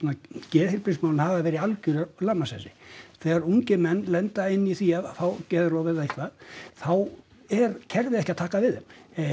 geðheilbrigðismálin hafa verið í algjöru lamasessi þegar ungir menn lenda í því að fá geðrof eða eitthvað þá er kerfið ekki að taka við þeim